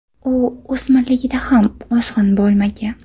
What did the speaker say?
U o‘smirligida ham ozg‘in bo‘lmagan.